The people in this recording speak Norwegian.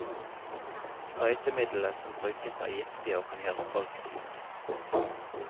Sprøytemidlet som brukes er giftig og kan gjøre folk syke.